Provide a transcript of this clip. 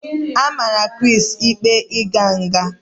A mara Chris ikpe ịga nga